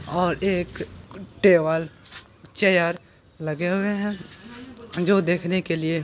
और एक table chair लगे हुए हैं जो देखने के लिए --